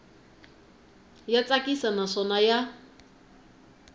ya tsakisa naswona i ya